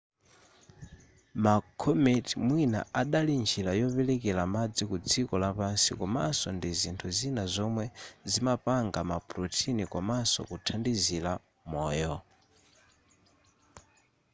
ma comet mwina idali njira yoperekera madzi ku dziko lapansi komaso ndi zinthu zina zomwe zimapanga ma protein komanso kuthandizira moyo